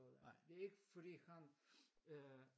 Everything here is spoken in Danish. Det ikke fordi han øh